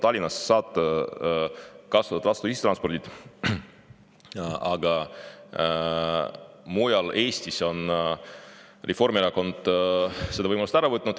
Tallinnas saab kasutada tasuta ühistransporti, aga mujal Eestis on Reformierakond selle võimaluse ära võtnud.